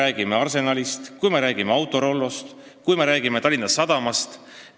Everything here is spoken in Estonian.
Räägime Arsenalist, räägime Autorollost, räägime Tallinna Sadamast.